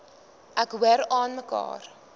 ek hoor aanmekaar